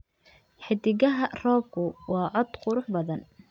Xiddigaha roobku waa cod qurux badan.